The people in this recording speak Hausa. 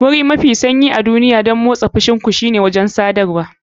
Wuri mafi sanyi a duniya don motsa fushin ku shine wurin shakatawa.